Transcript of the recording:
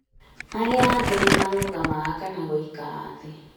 arĩa angi nimarũgamaga kana gũikara thĩ